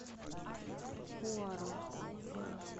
пуаро